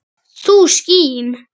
þú skín